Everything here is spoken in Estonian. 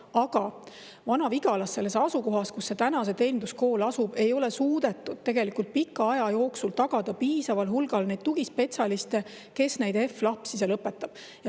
Aga Vana-Vigalas, selles asukohas, kus see teeninduskool asub, ei ole suudetud tegelikult pika aja jooksul tagada piisaval hulgal tugispetsialiste, kes neid HEV lapsi seal õpetaks.